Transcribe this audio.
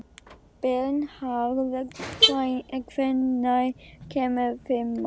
Bernharð, hvenær kemur fimman?